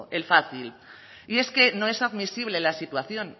el fácil y es que no es admisible la situación